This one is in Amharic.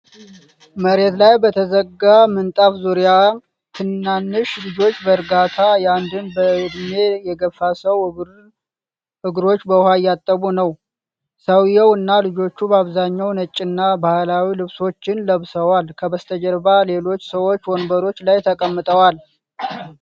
መሬት ላይ በተዘረጋ ምንጣፍ ዙሪያ፣ ትናንሽ ልጆች በእርጋታ የአንድን በዕድሜ የገፉ ሰው እግሮች በውሃ እያጠቡ ነው። ሰውየው እና ልጆቹ በአብዛኛው ነጭና ባህላዊ ልብሶችን ለብሰዋል። ከበስተጀርባ ሌሎች ሰዎች ወንበሮች ላይ ተቀምጠዏል።